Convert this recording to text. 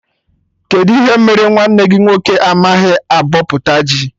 Kedụ ihe mere nwanne gị nwoke amaghị abọpụta ji?